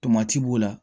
Tomati b'o la